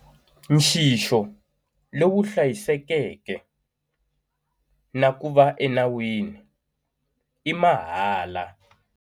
Nxixo lowu hlayisekeke na ku va enawini i mahala.